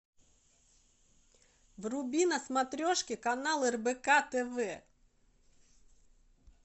вруби на смотрешке канал рбк тв